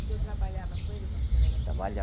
O senhor trabalhava com ele quando o senhor era criança?